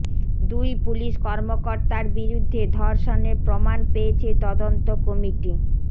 দুই পুলিশ কর্মকর্তার বিরুদ্ধে ধর্ষণের প্রমাণ পেয়েছে তদন্ত কমিটি